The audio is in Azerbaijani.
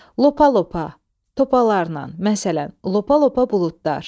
Lopa-lopa, topalarla, məsələn, lopa-lopa buludlar.